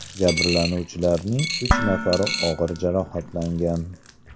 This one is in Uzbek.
Jabrlanuvchilarning uch nafari og‘ir jarohatlangan.